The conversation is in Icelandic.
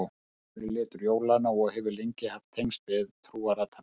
Rauður er litur jólanna og hefur lengi haft tengsl við trúarathafnir.